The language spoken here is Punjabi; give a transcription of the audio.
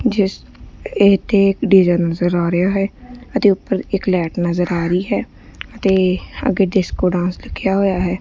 ਜਿਸ ਇਹ ਇੱਥੇ ਇੱਕ ਡੀ_ਜੇ ਨਜ਼ਰ ਆ ਰਿਹਾ ਹੈ ਅਤੇ ਉੱਪਰ ਇੱਕ ਲਾਈਟ ਨਜ਼ਰ ਆ ਰਹੀ ਹੈ ਅਤੇ ਅੱਗੇ ਡਿਸਕੋ ਡਾਂਸ ਲਿੱਖਿਆ ਹੋਇਆ ਹੈ।